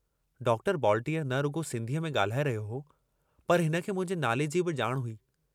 Doctor बॉलटीअर न रुगो सिन्धीअ में गाल्हाए रहियो हो, पर हिनखे मुंहिंजे नाले जी बि जाण हुई।